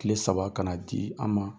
Tile saba ka na di an ma